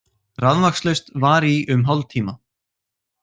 Rafmagnslaust var í um hálftíma